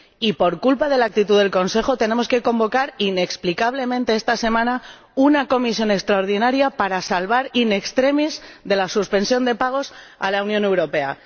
Y por culpa de la actitud del Consejo tenemos que convocar inexplicablemente esta semana una reunión extraordinaria de comisión para salvar in extremis de la suspensión de pagos a la Unión Europea.